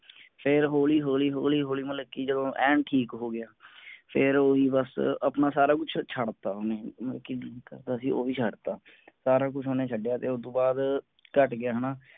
ਫੇਰ ਹੌਲੀ ਹੌਲੀ ਹੌਲੀ ਹੌਲੀ ਮਤਲਬ ਕਿ ਜਦੋਂ ਐਨ ਠੀਕ ਹੋਗਿਆ ਫੇਰ ਓਹਨੇ ਬਸ ਆਪਣਾ ਸਾਰਾ ਕੁੱਛ ਛੱਡ ਤਾ ਓਹਨੇ ਮਤਲਬ ਕਿ drink ਕਰਦਾ ਸੀ ਉਹ ਵੀ ਛੱਡ ਤਾ ਸਾਰਾ ਕੁੱਛ ਓਹਨੇ ਛਡੀਆ ਪਿਆ ਫੇਰ ਓਹਤੋਂ ਬਾਅਦ ਘਟ ਗਿਆ ਹੈਨਾ